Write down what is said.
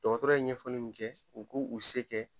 Dɔgɔtɔrɔ ye ɲɛfɔli min kɛ u k'u u se kɛ